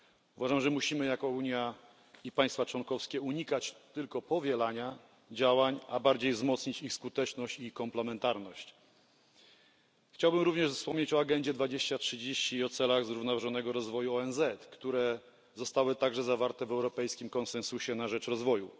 Uważam, że musimy jako Unia i państwa członkowskie unikać tylko powielania działań, a bardziej wzmocnić ich skuteczność i komplementarność. Chciałbym również wspomnieć o Agendzie 2030 i o celach zrównoważonego rozwoju ONZ, które zostały także zawarte w europejskim konsensusie na rzecz rozwoju.